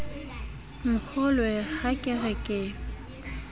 nkgolwe ha ke re ke